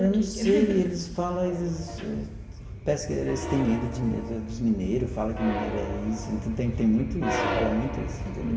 Eu não sei, eles fala, eles parece que eles têm medo de dos dos mineiros, fala que mineiro é isso, então tem tem muito isso, rola muito isso, entendeu?